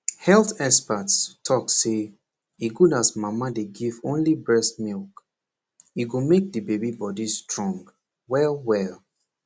health experts talk say e good as mama dey give only breast milk e go make de baby body strong well well